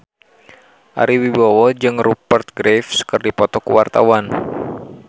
Ari Wibowo jeung Rupert Graves keur dipoto ku wartawan